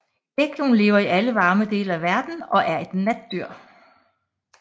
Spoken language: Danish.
Gekkoen lever i alle varme dele af verden og er et natdyr